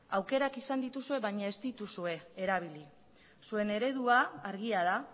aukerak izan dituzue baina ez dituzue erabili zuen eredua argia da